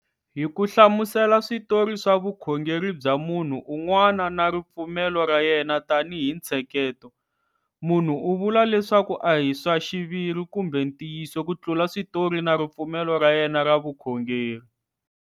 Hi ku hlamusela switori swa vukhongeri bya munhu un'wana na ripfumelo ra yena tanihi ntsheketo, munhu u vula leswaku a hi swa xiviri kumbe ntiyiso ku tlula switori na ripfumelo ra yena ra vukhongeri.